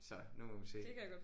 Så nu må vi se